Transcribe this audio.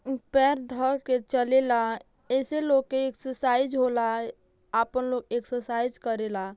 ऊं पैर धर के चलेला। एसे लोग के एक्सरसाइज होला। आपन लोग एक्सरसाइज करेला।